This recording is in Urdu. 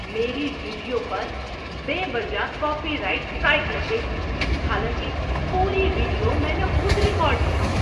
میری ویڈیو پر بے وجہ کاپی رائٹ سٹرائک لگ گئی۔ حالانکہ پوری ویڈیو میں نے خود ریکارڈ کی تھی۔